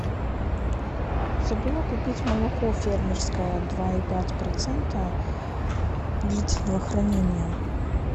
забыла купить молоко фермерское два и пять процента длительного хранения